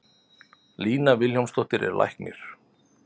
Lína Vilhjálmsdóttir er læknir.